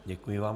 Děkuji vám.